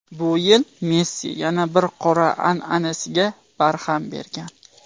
Bu yil Messi yana bir qora an’anasiga barham bergan.